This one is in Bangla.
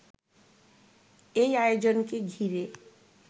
এই আয়োজনকে ঘিরে